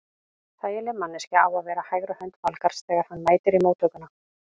Þægileg manneskja á að vera hægri hönd Valgarðs þegar hann mætir í móttökuna.